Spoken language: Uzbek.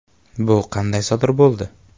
‘Bu qanday sodir bo‘ldi?